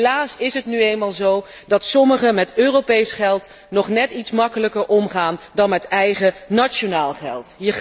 Helaas is het nu eenmaal zo dat sommigen met Europees geld nog net iets gemakkelijker omgaan dan met eigen nationaal geld.